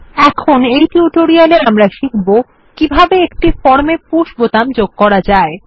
এখন এই টিউটোরিয়ালে আমরা শিখব কিভাবে একটি ফর্ম এ push বোতাম যোগ করা যায়